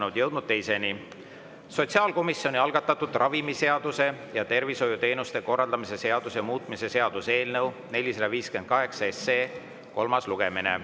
Oleme jõudnud teise: sotsiaalkomisjoni algatatud ravimiseaduse ja tervishoiuteenuste korraldamise seaduse muutmise seaduse eelnõu 458 kolmas lugemine.